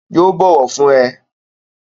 Yóò bọ̀wọ̀ fún ẹ